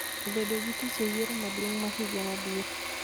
bedo gi tich e yiero maduong� ma higa mabiro...